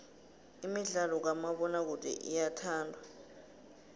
imidlalo kamabonakude iyathandwa